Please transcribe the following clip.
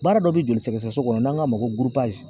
Baara dɔ be joli sɛgɛsɛgɛ so kɔnɔ n'an k'a ma ko gurupazi